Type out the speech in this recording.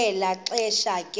kwelo xesha ke